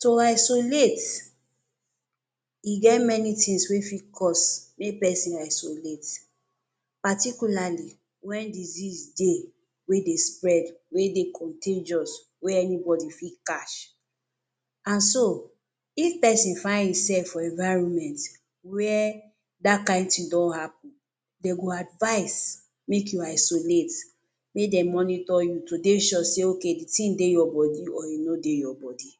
To isolate e get many tins wey fit cause mey pesin isolate. Particularly wen disease dey wey de spread, wey de contagious, wey anybody fit catch and so if pesin find im sef for environment where dat kind tin don happun, dem go advice make im isolate make dem monitor you to dey sure say OK di tin dey your body or e no dey your body.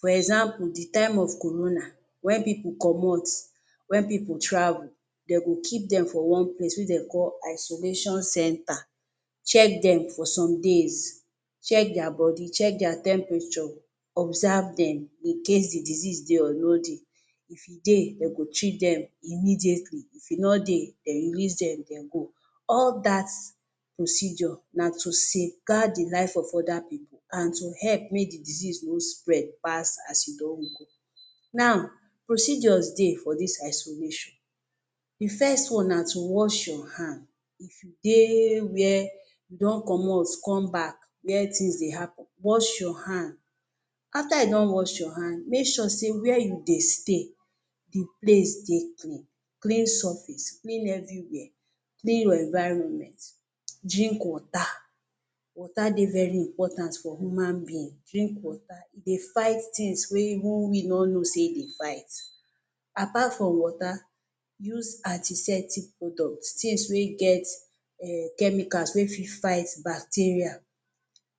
For example, di time of corona wen pipu comot wen pipu travel dey go keep dem for one place wey dem dey call isolation center, check dem for some days, check dia body, check dia temperature, observe dem in case di disease dey or e no dey. If e dey, dem go treat dem immediately, if e no dey, dem go release dem make dem go. All dat procedure na to safe guard di lives of oda pipu and to help make di disease no spread pass as e don go. Now, procedure dey for dis isolation. Di first one na to wash your hand. If you de wia you don comot come back, wia tins dey happun, wash your hands, afta you don wash your hand, make sure say wia you dey stay, di place de clean, clean surface, clean evriwia, clean your environment, drink water, water dey very important for human being, drink water e de fight tins wey we no know say say e dey fight. Apart from water, use antiseptic products, tins wey get chemical wey fit fight bacteria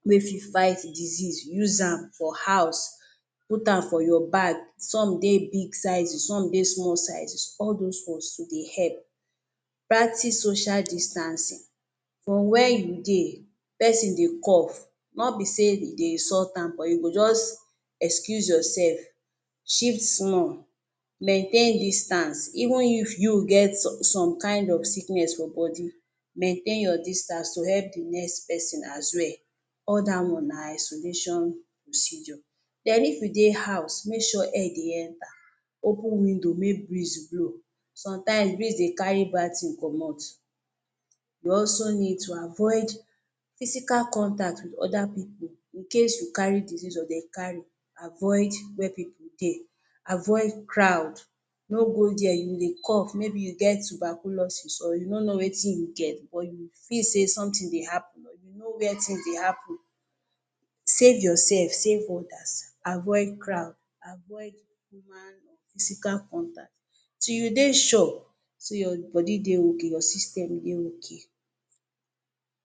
mey fit fight disease use am for house put am for your bag, some dey big sizes some dey small sizes all dos ones dey help. Practice social distancing for wia you de, pesin dey coff, nobi say you dey insult am but you go just excuse your sef, shift small, maintain distance even if you get some kain of sickness for body, main your distance to help di next pesin as well. All dat one na isolation procedure. Den if you de house, make sure air dey enta, open window make breeze blow, sometimes breeze dey carry bad tin comot. You also need to avoid physical contact wit oda pipu incase you carry disease or dem carry, avoid wia pipu dey, avoid crowd, no go dia if you dey coff, maybe you get tuberculosis or you no know wetin you get but you feel say sometin dey happun, save your sef, save odas, avoid crowd, avoid human physical contact, till you dey sure say your body de ok your system dey ok